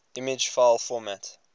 image file format